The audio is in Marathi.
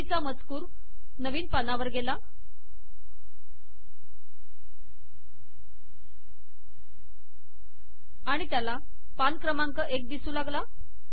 बाकीचा मजकूर नवीन पानावर गेला आणि त्याला पान क्रमांक एक दिसू लागला